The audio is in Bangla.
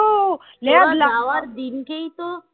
দিনকেই তো